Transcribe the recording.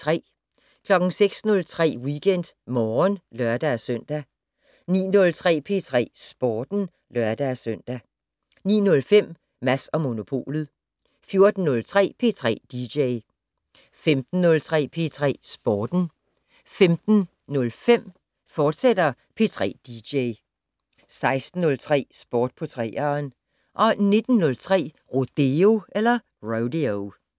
06:03: WeekendMorgen (lør-søn) 09:03: P3 Sporten (lør-søn) 09:05: Mads & Monopolet 14:03: P3 dj 15:03: P3 Sporten 15:05: P3 dj, fortsat 16:03: Sport på 3'eren 19:03: Rodeo